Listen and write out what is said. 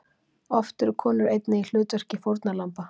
Oft eru konur einnig í hlutverki fórnarlamba.